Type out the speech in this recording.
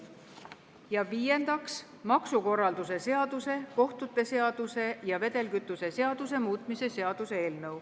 Ja viiendaks, maksukorralduse seaduse, kohtute seaduse ja vedelkütuse seaduse muutmise seaduse eelnõu.